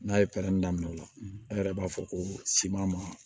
N'a ye pɛrɛn daminɛ o la a yɛrɛ b'a fɔ ko ma